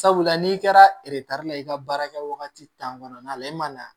Sabula n'i kɛra la i ka baara kɛ wagati kɔnɔna la e ma na